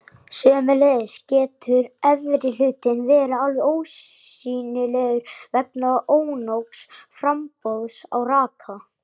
Sömuleiðis getur efri hlutinn verið alveg ósýnilegur vegna ónógs framboðs á raka.